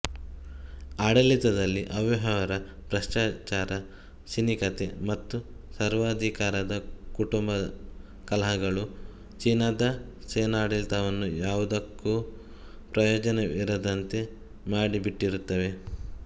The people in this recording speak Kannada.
ಆಡಳಿತದಲ್ಲಿ ಅವ್ಯವಹಾರ ಭ್ರಷ್ಟಾಚಾರ ಸಿನಿಕತೆ ಮತ್ತು ಸರ್ವಾಧಿಕಾರದ ಕುಟುಂಬ ಕಲಹಗಳು ಚೀನಾದ ಸೇನಾಡಳಿತವನ್ನು ಯಾವುದಕ್ಕೋ ಪ್ರಯೋಜನವಿರದಂತೆ ಮಾಡಿಬಿಟ್ಟಿರುತ್ತವೆ